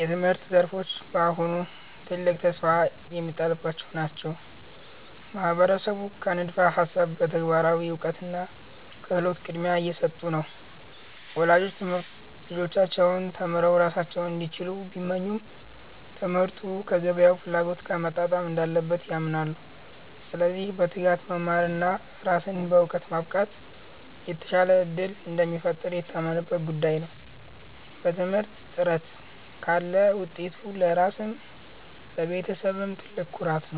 የትምህርት ዘርፎች አሁንም ትልቅ ተስፋ የሚጣልባቸው ናቸው። ማህበረሰቡ ከንድፈ ሃሳብ ለተግባራዊ እውቀትና ክህሎት ቅድሚያ እየሰጡ ነው። ወላጆች ልጆቻቸው ተምረው ራሳቸውን እንዲችሉ ቢመኙም፣ ትምህርቱ ከገበያው ፍላጎት ጋር መጣጣም እንዳለበት ያምናሉ። ስለዚህ በትጋት መማርና ራስን በዕውቀት ማብቃት የተሻለ ዕድል እንደሚፈጥር የታመነበት ጉዳይ ነው። በትምህርት ጥረት ካለ ውጤቱ ለራስም ለቤተሰብም ትልቅ ኩራት ነው።